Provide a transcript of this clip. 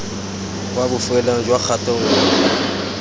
kwa bofelong jwa kgato nngwe